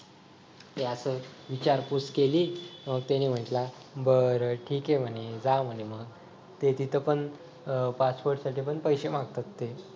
विचारपुस केली मग त्यांनी म्हंटला बर ठीक आहे म्हणे जा म्हणे मग ते तिथे पण passport साठी पण पैसे मागतात ते